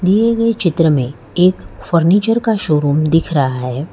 दिए गए चित्र में एक फर्नीचर का शोरूम दिख रहा है।